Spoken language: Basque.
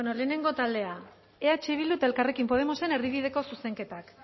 lehenengo taldea eh bildu eta elkarrekin podemosen erdibideko zuzenketak